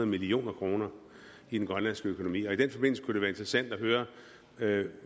million kroner i den grønlandske økonomi og i den forbindelse kunne det være interessant at høre